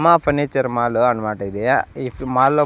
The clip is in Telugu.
మా ఫర్నిచర్ మాలు అన్మాట ఇది ఈ మాల్లో --